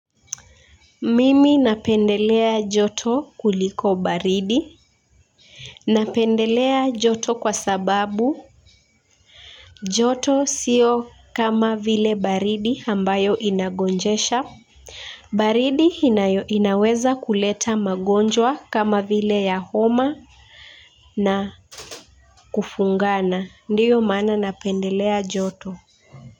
Mimi napendelea joto kuliko baridi. Napendelea joto kwa sababu joto sio kama vile baridi ambayo inagonjesha. Baridi inaweza kuleta magonjwa kama vile ya homa na kufungana ndiyo maana napendelea joto.